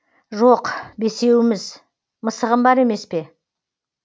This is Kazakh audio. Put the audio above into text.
жоқ бесеуміз мысығым бар емес пе